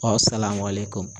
Aw